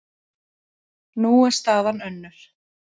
Nú er staðan önnur.